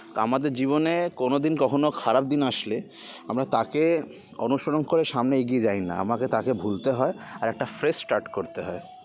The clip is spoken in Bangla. তা আমাদের জীবনে কোনো দিন কখনো খারাপ দিন আসলে আমরা তাকে অনুসরণ করে সামনে এগিয়ে যাই না আমাদের তাকে ভুলতে হয় আর একটা fresh start করতে হয়